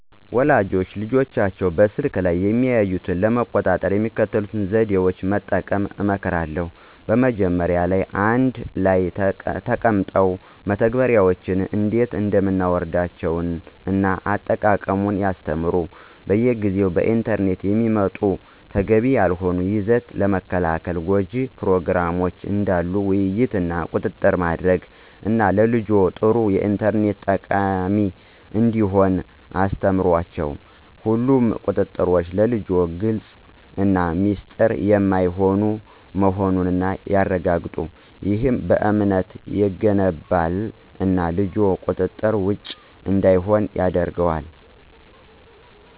ወላጆች ልጆቻቸው በስልክ ላይ የሚያዩትን ለመቆጣጠር የሚከተሉትን ዘዴዎች መጠቀም እመክራለሁ። መጀመሪያ ላይ አንድ ላይ ተቀምጠው መተግበሪያዎችን እንዴት እንደምናወርዳቸውን እና አጠቃቀሙን ያስተምሩ። በየጊዜው በኢንተርኔት የሚመጡ ተገቢ ያልሆነ ይዘት ለመከልከል ጎጅ ፕሮግራሞችን ዳሉ ውይይት እና ቁጥጥር ማድረግ እና ልጅዎ ጥሩ የኢንተርኔት ተጠቃሚ እንዲሆን አስተምሯቸው። ሁሉም ቁጥጥሮች ለልጅዎ ግልፅ እና ሚስጥር የማይሆን መሆኑን ያረጋግጡ። ይህ እምነትን ይገነባል እና ልጅዎ ቁጥጥር ውጭ እንዳይሆን ያደርጋል።